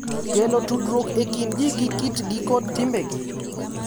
Kelo tudruok e kind ji gi kitgi kod timbegi.